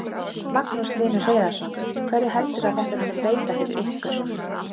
Magnús Hlynur Hreiðarsson: Hverju heldurðu að þetta muni breyta fyrir ykkur?